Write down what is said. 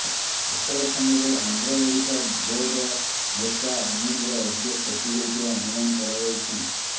ଅପରେଶନରେ Andhra Odisha border ନେତା ଅନୀଲର ଅଧିକ କ୍ଷତି ହୋଇଥିବା ଅନୁମାନ କରାଯାଉଛି